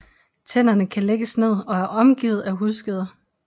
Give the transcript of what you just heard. Tænderne kan lægges ned og er omgivet af hudskeder